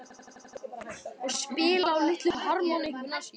Og spila á litlu harmónikkuna sína?